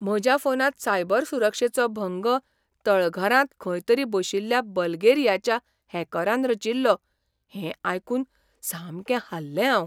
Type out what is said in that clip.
म्हज्या फोनांत सायबर सुरक्षेचो भंग तळघरांत खंय तरी बशिल्ल्या बल्गेरियाच्या हॅकरान रचिल्लो हें आयकून सामकें हाल्लें हांव.